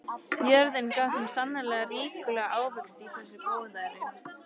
Jörðin gaf þeim sannarlega ríkulega ávexti í þessu góðæri.